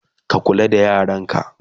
ka kula da yaranka!